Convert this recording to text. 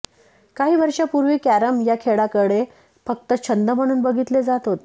काही वर्षांपूर्वी कॅरम या खेळाकडे फक्त छंद म्हणून बघितले जात होते